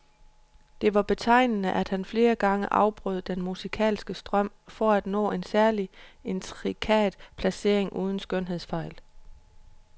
Det var betegnende at han flere gange afbrød den musikalske strøm for at nå en særlig intrikat placering uden skønhedsfejl.